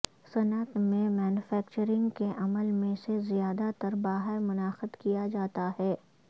صنعت میں مینوفیکچرنگ کے عمل میں سے زیادہ تر باہر منعقد کیا جاتا ہے